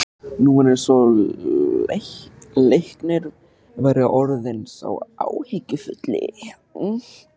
Nú var eins og Leiknir væri orðinn sá áhyggjufulli.